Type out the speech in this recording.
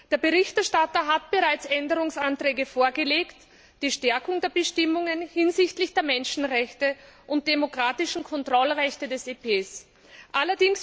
Der Berichterstatter hat bereits Änderungsanträge vorgelegt, die auf die Stärkung der Bestimmungen hinsichtlich der Menschenrechte und der demokratischen Kontrollrechte des EP abzielen.